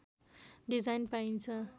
design पाइन्छ